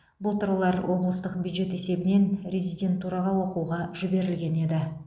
былтыр олар облыстық бюджет есебінен резидентураға оқуға жіберілген еді